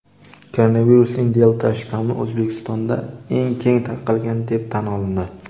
Koronavirusning "Delta"-shtammi O‘zbekistonda eng keng tarqalgan deb tan olindi.